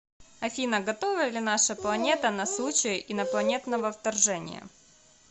афина готова ли наша планета на случай инопланетного вторжения